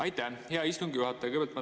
Aitäh, hea istungi juhataja!